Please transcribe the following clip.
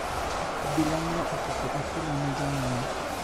Obila nyo opuko apilo ne jong`anyo